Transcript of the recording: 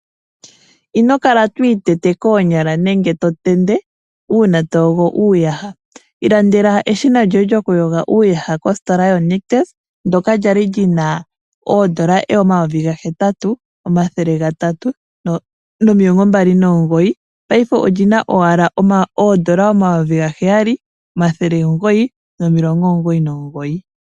Ino kala to itete koonyala nenge to tende uuna to yogo uuyaha. Ilandela eshina lyoye lyokuyoga uuyaha kositola yo Nictus, ndoka lya li lyina oondola omayovi ga hetatu omathele gatatu nomilongo mbali nomugoyi. Paife olyina owala oondola omayovi ga heyali omathele omugoyi nomilongo omugoyi nomugoyi.